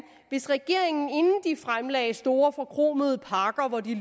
hvis regeringen inden de fremlagde store forkromede pakker hvor de